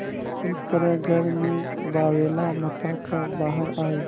इस तरह घर में बावैला मचा कर बाहर आये